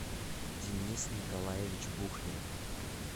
денис николаевич бухнер